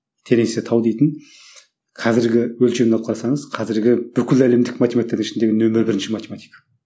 теренсе тау дейтін қазіргі өлшемді алып қарасаңыз қазіргі бүкіл әлемдік математиктердің ішіндегі нөмірі бірінші математик